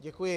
Děkuji.